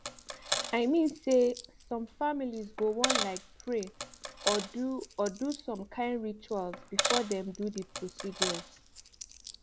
i mean say some families go wan like pray or do or do some kain rituals before dem do the procedures